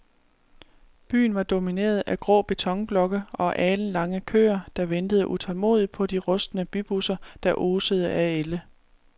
Byen var domineret af grå betonblokke og alenlange køer, der ventede tålmodigt på de rustne bybusser, der osede af ælde.